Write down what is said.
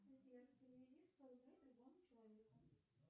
сбер переведи сто рублей любому человеку